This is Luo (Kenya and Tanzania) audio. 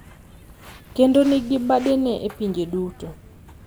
Kendo nigi badene e pinje duto.